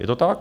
Je to tak.